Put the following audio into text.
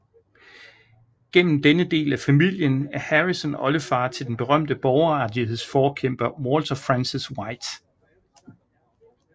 Gennem denne del af familien er Harrison oldefar til den berømte borgerrettighedsforkæmper Walter Francis White